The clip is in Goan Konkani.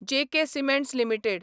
J K Cements limited